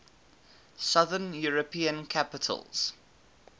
southern european capitals